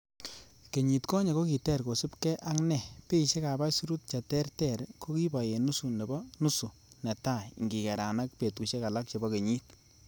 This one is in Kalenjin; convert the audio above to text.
Kenyit konye ko kiter kosiibge, ak nee beishek ab aisurut cheterter kokiboi en nusu nebo nusu netai, ingikeran ak betusiek alak chebo kenyit.